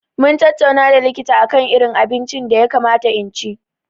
Mun tattauna da likita akan irin abinci da ya kamata in ci.